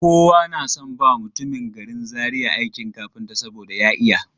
Kowa na son ba mutumin garin Zaria aikin kafinta saboda ya iya.